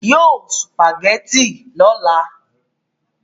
Yóò sùpàgẹ́tì lọ́la